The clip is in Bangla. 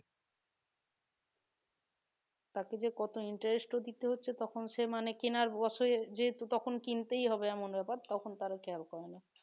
তাকে যে কত interest ও দিতে হচ্ছে তখন সে মানে কেনার বছরে যেহেতু তখন কিনতেই হবে এমন ব্যাপার তখন তারা খেয়াল করে না